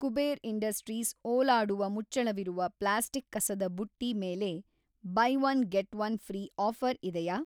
Kuber industries ಓಲಾಡುವ ಮುಚ್ಚಳವಿರುವ plastic ಕಸದ ಬುಟ್ಟಿ ಮೇಲೆ buy one get one free offer ಇದೆಯಾ